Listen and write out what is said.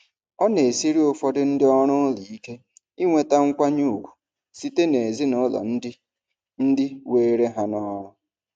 Ọ na-esiri ụfọdụ ndị ọrụ ụlọ ike inweta nkwanye ùgwù site n'ezinụlọ ndị ndị were ha n'ọrụ.